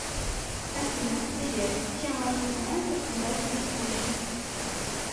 афина привет чем можно заняться когда тебе скучно